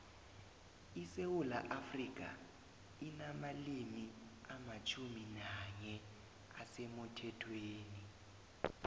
isewula afrika inamalimi amatjhumi nanye asemuthethweni